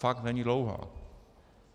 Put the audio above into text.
Fakt není dlouhá.